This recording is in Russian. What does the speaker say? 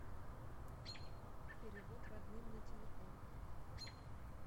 перевод родным на телефон